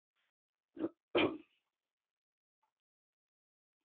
Margir árekstrar á höfuðborgarsvæðinu